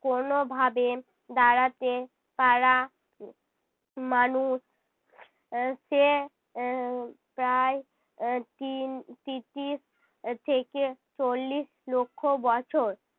কোনোভাবে দাঁড়াতে পারা উহ মানুষ, সে আহ প্রায় এর তিন তিতিশ থেকে চল্লিশ লক্ষ বছর